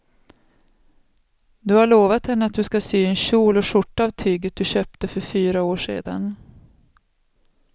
Du har lovat henne att du ska sy en kjol och skjorta av tyget du köpte för fyra år sedan.